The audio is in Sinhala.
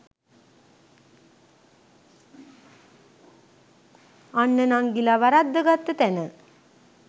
අන්න නංඟිල වරද්ද ගත්ත තැන